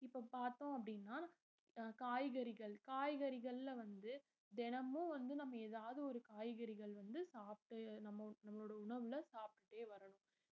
இப்ப பாத்தோம் அப்டினா அஹ் காய்கறிகள் காய்கறிகள்ல வந்து தினமும் வந்து நம்ம ஏதாவது ஒரு காய்கறிகள் வந்து சாப்பிட்டு நம்ம~ நம்மளோட உணவுல சாப்பிட்டுட்டே வரணும்